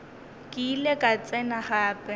ke ile ka tsena gape